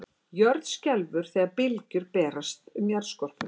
Jörð skelfur þegar bylgjur berast um jarðskorpuna.